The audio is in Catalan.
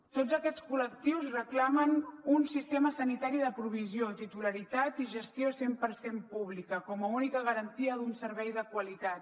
tots aquests col·lectius reclamen un sistema sanitari de provisió titularitat i gestió cent per cent públiques com a única garantia d’un servei de qualitat